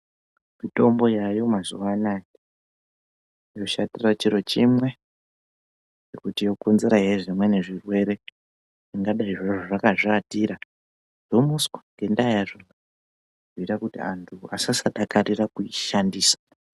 Mitombo yaayo mazuwaanaya inoshatire chiro chimwe yekuti inokonzere zvimweni zvirwere ndabeni zviro zvakazviatira zvomuswa ngendaa yazvo zvinoita kuti anthu asasadakarira kuishandisa.